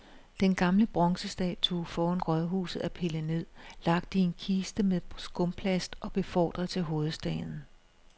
Den gamle bronzestatue foran rådhuset er pillet ned, lagt i en kiste med skumplast og befordret til hovedstaden.